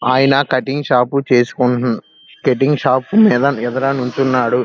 ఆయన cutting shop పు చేస్కుంటూన్ కటింగ్ షాప్ మీద ఎదుర నుంచున్నాడు.